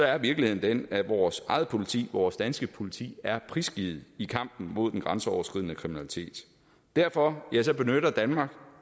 er virkeligheden den at vores eget politi vores danske politi er prisgivet i kampen mod den grænseoverskridende kriminalitet derfor benytter danmark